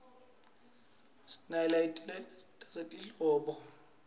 sinaletinye tasehlobo